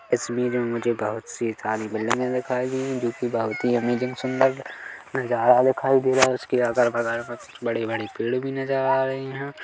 तस्वीर मे मुझे बहुत सी सारी बिल्डिंगे दिखाई दे रही है जो कि बहुत ही अमैज़िंग सुंदर नजारा दिखाई दे रहा हैं उसके अगल-बगल मे कुछ बड़े-बड़े पेड़ भी नजर आ रहे हैं।